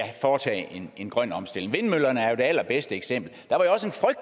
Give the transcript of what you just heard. foretage en grøn omstilling vindmøllerne er jo det allerbedste eksempel